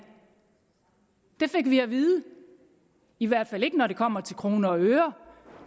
det fik vi at vide i hvert fald ikke når det kommer til kroner og øre